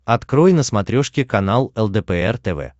открой на смотрешке канал лдпр тв